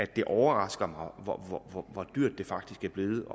det overrasker mig hvor dyrt det faktisk er blevet